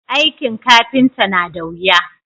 aikin kafinta na da wuya